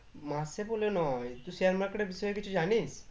মাসে বলে নয়, তুই share market এর বিষয়ে কিছু জানিস?